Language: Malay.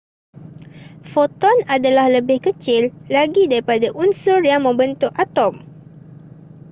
foton adalah lebih kecil lagi daripada unsur yang membentuk atom